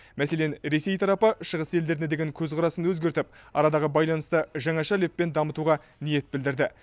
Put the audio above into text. мәселен ресей тарапы шығыс елдеріне деген көзқарасын өзгертіп арадағы байланысты жаңаша леппен дамытуға ниет білдірді